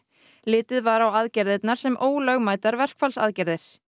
litið var á aðgerðirnar sem ólögmætar verkfallsaðgerðir